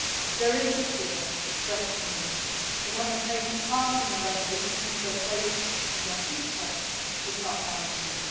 There is a fear, expressed to me, that, having taken part in their revolutions, their place in their future is not guaranteed.